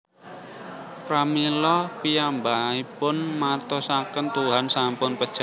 Pramila piyambakipun martosaken Tuhan sampun pejah